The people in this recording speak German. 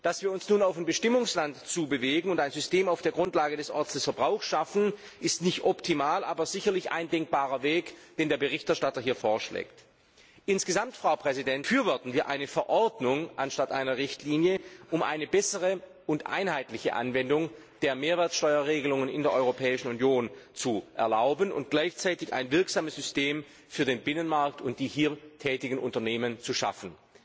Dass wir uns nun auf ein Bestimmungsland zu bewegen und ein System auf der Grundlage des Orts des Verbrauchs schaffen, ist nicht optimal, aber sicherlich ein denkbarer Weg, den der Berichterstatter hier vorschlägt. Insgesamt befürworten wir eine Verordnung anstatt einer Richtlinie, um eine bessere und einheitliche Anwendung der Mehrwertsteuer Regelungen in der Europäischen Union zu erlauben und gleichzeitig ein wirksames System für den Binnenmarkt und die hier tätigen Unternehmen zu schaffen.